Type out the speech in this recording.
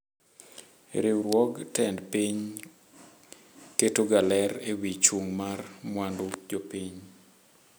Riwruog tend piny ketoga ler ewi chung' mar mwandu jopiny.